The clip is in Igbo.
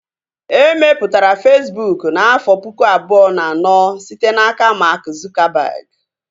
E mepụtara Fesbụụk n'afọ pụkụ abụọ na anọ site n'aka Mark Zuckerberg